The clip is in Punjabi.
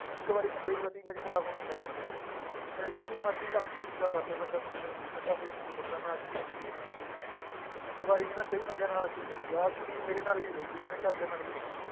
ਇੱਕ ਵਾਰੀ ਬੰਦੇ ਦੀ ਬਸ image ਖ਼ਰਾਬ ਹੋਣੀ ਚਾਹੀਦੀ ਹੈ, ਫਿਰ ਜਿੰਨੀ ਮਰਜ਼ੀ ਲੱਖ ਕੋਸ਼ਿਸ਼ਾਂ ਕਰ ਲਏ ਬੰਦਾ ਸੁਧਰਨ ਦੀ ਬੰਦਾ ਫਿਰ ਨੀ ਸੁਧਰਦਾ ਮੈਂ ਆਹ ਚੀਜ਼ ਦੇਖੀ ਹੈ ਜੀ ਇੱਕ ਵਾਰੀ ਨੀ ਮੈਂ ਕਈ ਬੰਦਿਆਂ ਨਾਲ ਆਹ ਚੀਜ਼ ਦੇਖੀ ਹੈ, ਆਹ ਚੀਜ਼ ਮੇਰੇ ਨਾਲ ਵੀ ਹੋਈ ਹੋਈ ਹੈ, ਮੇਰੇ ਘਰਦਿਆਂ ਨਾਲ ਵੀ ਹੋਈ ਹੋਈ ਹੈ